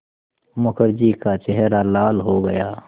मुखर्जी का चेहरा लाल हो गया